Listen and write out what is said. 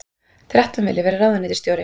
Þrettán vilja vera ráðuneytisstjóri